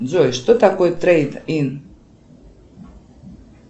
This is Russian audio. джой что такое трейд ин